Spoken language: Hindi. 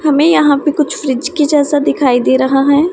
हमें यहां पर कुछ फ्रिज की जैसा दिखाई दे रहा है।